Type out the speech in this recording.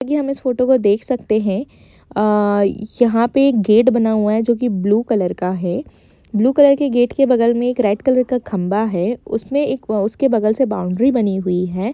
यह एवस फोटो को देख सकते है यह पे एक गेट बना हुआ है जोकि ब्लू कलर का है ब्लू कलर के गेट के बगल में रेड कलर का खंबा है उसमे एक बगल में एक बॉउंड्री बनी हुई है ।